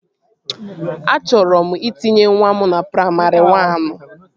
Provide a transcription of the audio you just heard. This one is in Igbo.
Achọrọ m itinye nwa m na praimarị wan